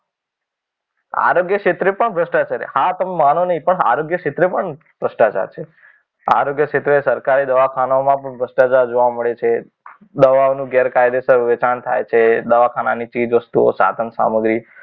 આરોગ્ય ક્ષેત્રે પણ ભ્રષ્ટાચાર છે હા તમે માનો નહીં પણ આરોગ્ય ક્ષેત્રે પણ ભ્રષ્ટાચાર છે. આરોગ્ય ક્ષેત્ર સરકારી દવાખાનાઓમાં પણ ભ્રષ્ટાચાર જોવા મળે છે. દવાઓનું ગેરકાયદેસર વેચાણ થાય છે દવાખાનાની ચીજ વસ્તુઓ સાધન સામગ્રી,